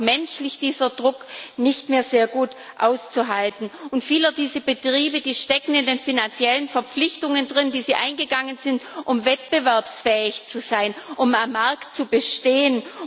Auch menschlich ist dieser Druck nicht mehr sehr gut auszuhalten, und viele dieser Betriebe stecken in den finanziellen Verpflichtungen, die sie eingegangen sind, um wettbewerbsfähig zu sein, um am Markt zu bestehen.